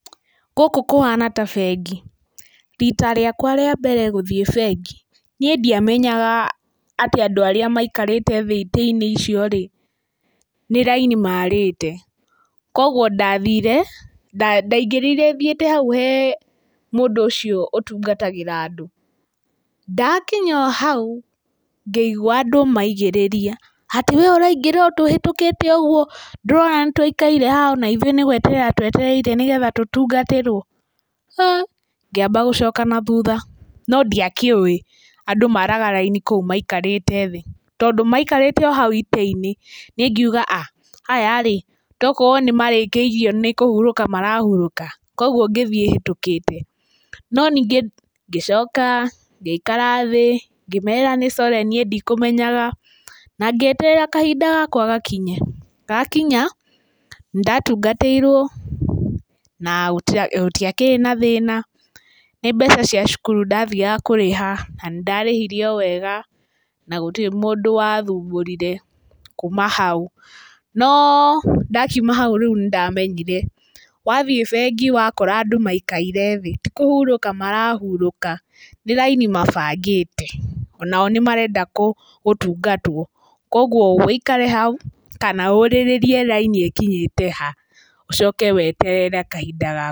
Gũkũ kũhana ta bengi. Rita rĩakwa rĩa mbere gũthiĩ bengi, niĩ ndiamenyaga atĩ andũ arĩa maikarĩte thĩ itĩ-inĩ icio-rĩ, nĩ raini maarĩte. Kuoguo ndathire, ndaingĩrire thiĩte hau he mũndũ ũcio ũtungatagĩra andũ. Ndakinya o hau, ngĩigua andũ maigĩrĩria, atĩ wee ũraingĩra ũtũhĩtũkĩte ũguo ndũrona nĩtũikaire haha ona ithuĩ nĩgweterera twetereire nĩgetha tũtungatĩrwo? Ha, ngĩamba gũcoka na thutha, no ndiakĩũĩ andũ maraga raini kũu maikarĩte thĩ, tondũ maikarĩte o hau itĩ-inĩ, niĩ ngiuga a, aya-rĩ togũkorwo nĩmarĩkĩirio nĩkũhurũka marahurũka, kuoguo ngĩthiĩ hĩtũkĩte. No ningĩ ngĩcoka ngĩikara thĩ, ngĩmera nĩ core niĩ ndikũmenyaga, na ngĩeterera kahinda gakwa gakinye. Gakinya, nĩndatungatĩirwo na gũtiakĩrĩ na thĩna. Nĩ mbeca cia cukuru ndathiaga kũrĩha, na nĩndarĩhire o wega, na gũtirĩ mũndũ wathumbũrire, kuma hau. Noo, ndakiuma hau rĩu nĩndamenyire, wathiĩ bengi wakora andũ maikaire thĩ, ti kũhurũka marahurũka, nĩ raini mabangĩte. Onao nĩmarenda gũtungatwo, kuoguo wĩikare hau kana ũrĩrĩrie raini ĩkinyĩte ha, ũcoke weterere kahinda gaku.